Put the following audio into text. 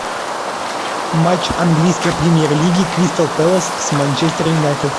матч английской премьер лиги кристал пэлас с манчестер юнайтед